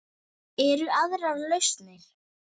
Eru aðrar lausnir?